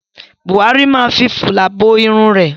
Buhari máa fi fìlà bo irun rẹ̀.